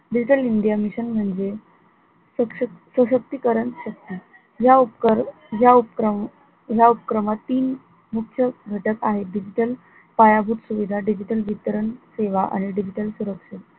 digital india mission म्हणजे सश सशक्तीकरण शक्ती या उप या उपक्रम, या उपक्रमात तीन मुख्य घटक आहे digital पायाभूत सुविधा digital वितरण सेवा आणि digital सुरक्षा